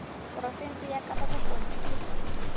porofense ya kapa bokone ke